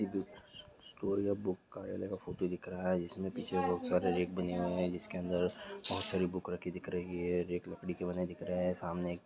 store या book कार्यालय का एक फोटो दिख रहा है जिसमे पीछे बहुत सारे रैक बने हुए है जिसके अंदर बहुत सारी बुक रखी दिख रही है रैक लकड़ी के बने दिख रहें है सामने एक--